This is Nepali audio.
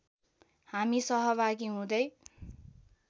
हामी सहभागी हुँदै